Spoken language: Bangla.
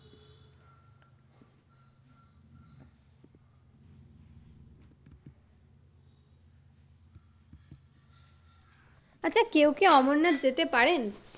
আচ্ছা কেউ কি অমরনাথ যেতে পারেন?